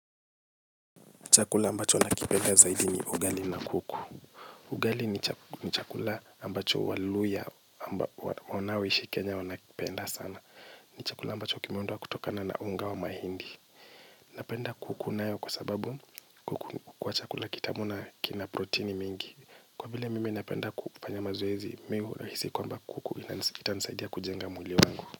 Chakula ambacho nakipenda zaidi ni ugali na kuku. Ugali ni chakula ambacho waluhya wanaoishi kenya wanakipenda sana. Ni chakula ambacho kimeundwa kutokana na unga wa mahindi. Napenda kuku nayo kwa sababu kwa chakula kitamu na kina proteini mingi. Kwa vile mimi napenda kufanya mazoezi, mimi hu rahisi kwamba kuku itanisaidia kujenga mwili wangu.